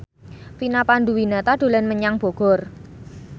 Vina Panduwinata dolan menyang Bogor